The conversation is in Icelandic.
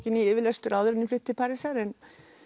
í yfirlestur áður en ég flyt til Parísar en